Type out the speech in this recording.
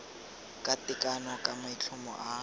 ka tekano ka maitlhomo a